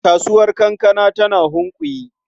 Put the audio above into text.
Kasuwar kankana tana Hunkuyi.